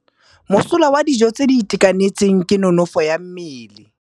Mosola wa dijô tse di itekanetseng ke nonôfô ya mmele.